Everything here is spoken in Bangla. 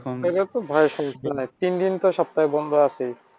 তিন দিন তো সপ্তাহে বন্ধ আছে।